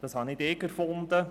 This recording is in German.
Das habe nicht ich erfunden.